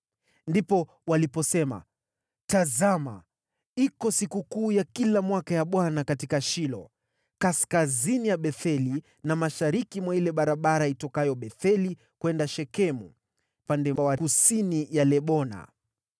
Ndipo waliposema, “Tazama iko sikukuu ya kila mwaka ya Bwana katika Shilo, kaskazini ya Betheli na mashariki mwa ile barabara itokayo Betheli kwenda Shekemu, upande wa kusini wa Lebona.”